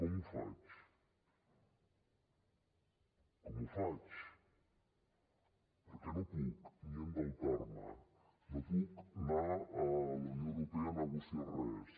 com ho faig com ho faig perquè no puc ni endeutar me no puc anar a la unió europea a negociar res